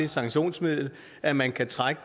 sanktionsmiddel at man kan trække